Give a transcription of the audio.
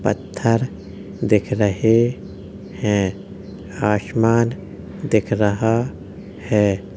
पत्थर दिख रहे हैं आशमान दिख रहा है।